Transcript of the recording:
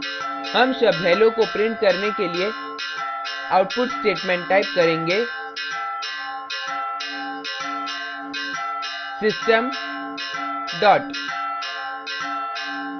हम शब्द hello को print करने के लिए output statement type करेंगे system dot